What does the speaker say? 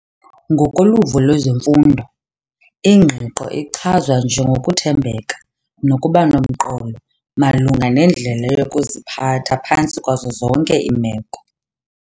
Ngokoluvo lwezemfundo, ingqiqo ichazwa njengokuthembeka nokuba nomqolo malunga nendlela yokuziphatha phantsi kwazo zonke iimeko.